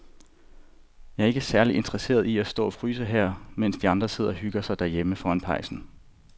Jeg er ikke særlig interesseret i at stå og fryse her, mens de andre sidder og hygger sig derhjemme foran pejsen.